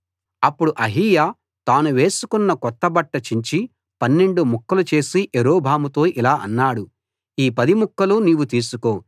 అప్పుడు అహీయా తాను వేసుకున్న కొత్త బట్ట చించి పన్నెండు ముక్కలు చేసి యరొబాముతో ఇలా అన్నాడు ఈ పది ముక్కలు నీవు తీసుకో